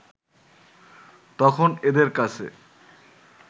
তখন এদের কাছে